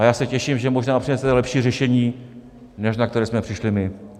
A já se těším, že možná přinesete lepší řešení, než na které jsme přišli my.